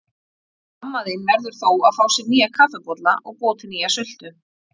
Amma þín verður þó að fá sér nýja kaffibolla og búa til nýja sultu.